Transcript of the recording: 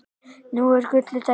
Nú er gullið tækifæri!